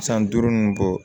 San duuru nunnu bɔ